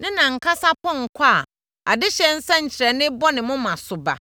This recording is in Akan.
ne nʼankasa pɔnkɔ a adehyeɛ nsɛnkyerɛnneɛ bɔ ne moma so ba.